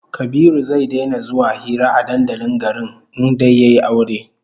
Kabiru zai daina zuwa hira a dandalin garin in dai yayi aure